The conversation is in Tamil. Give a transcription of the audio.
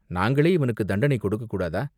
"நாங்களே இவனுக்குத் தண்டனை கொடுக்கக் கூடாதா?